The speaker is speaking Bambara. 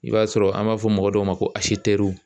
I b'a sɔrɔ an b'a fɔ mɔgɔ dɔw ma ko